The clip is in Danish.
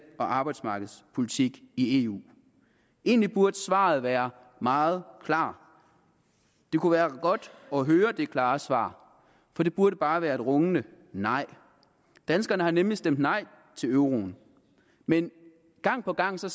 og arbejdsmarkedspolitik i eu egentlig burde svaret være meget klart det kunne være godt at høre det klare svar og det burde bare være et rungende nej danskerne har nemlig stemt nej til euroen men gang på gang ser